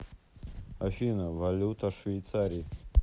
афина валюта швейцарии